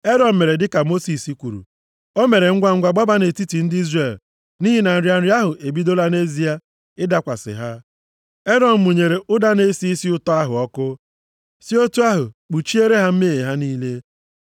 Erọn mere dịka Mosis kwuru. O mere ngwangwa gbaba nʼetiti ndị Izrel nʼihi na nrịa nrịa ahụ ebidola nʼezie ịdakwasị ha. Erọn mụnyere ụda na-esi isi ụtọ ahụ ọkụ, si otu ahụ kpuchiere ha mmehie ha niile.